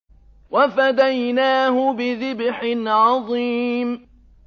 وَفَدَيْنَاهُ بِذِبْحٍ عَظِيمٍ